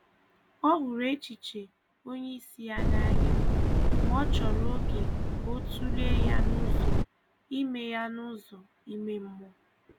Ọ hụrụ echiche onye isi ya n’anya, ma ọ chòrò oge ka ọ tụlee ya n’ụzọ ime ya n’ụzọ ime mmụọ.